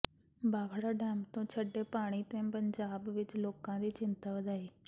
Bhakra dam ਤੋਂ ਛੱਡੇ ਪਾਣੀ ਨੇ ਪੰਜਾਬ ਵਿੱਚ ਲੋਕਾਂ ਦੀ ਚਿੰਤਾ ਵਧਾਈ